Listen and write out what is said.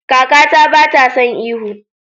Kakata bata son ihu.